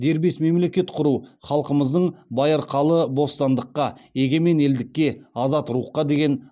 дербес мемлекет құру халқымыздың байырқалы бостандыққа егемен елдікке азат рухқа деген